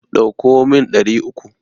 Ɗauko min ɗari uku.